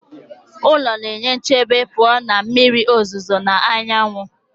Ụlọ na-enye nchebe pụọ na mmiri ozuzo na anyanwụ